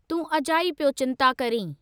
तूं अजाई पियो चिंता करीं।